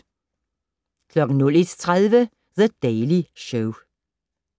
01:30: The Daily Show